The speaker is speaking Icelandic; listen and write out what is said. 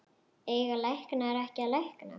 Eiga læknar ekki að lækna?